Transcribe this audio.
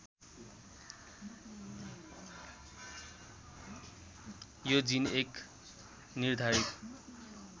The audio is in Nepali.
यो जीन एक निर्धारित